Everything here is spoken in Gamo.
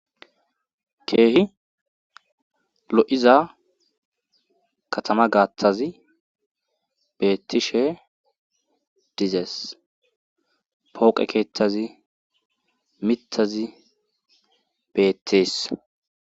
keehi lo7iza katama gaattazi beettishe dizees pooqe keethazi mittazi beettees